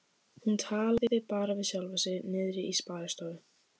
Hún talaði bara við sjálfa sig niðri í sparistofu.